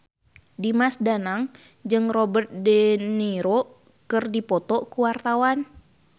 Dimas Danang jeung Robert de Niro keur dipoto ku wartawan